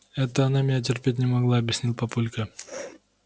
это она меня терпеть не могла объяснил папулька